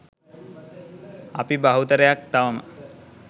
අපි බහුතරයක් තවම